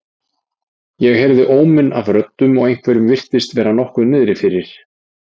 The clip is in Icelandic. Ég heyrði óminn af röddum og einhverjum virtist vera nokkuð niðri fyrir.